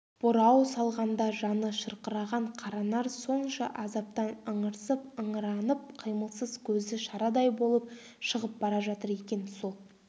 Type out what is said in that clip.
бұрау салғанда жаны шырқыраған қаранар сонша азаптан ыңырсып ыңыранып қимылсыз көзі шарадай болып шығып бара жатыр екен сол